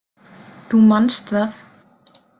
Þú manst það?